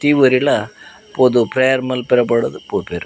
ಪ್ರತಿಯೊರಿಲ ಪೋದು ಪ್ರೇಯರ್ ಮನ್ಪೆರೆ ಬೋಡಾದ್ ಪೋಪೆರ್.